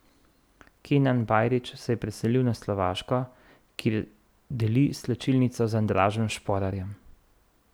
Kenan Bajrić se je preselil na Slovaško, kjer deli slačilnico z Andražem Šporarjem.